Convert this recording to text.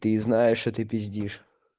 ты знаешь что ты пиздишь